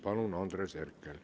Palun, Andres Herkel!